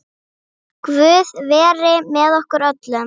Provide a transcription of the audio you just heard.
Guð veri með okkur öllum.